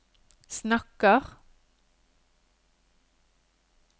snakker